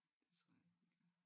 Det tror jeg ikke den gør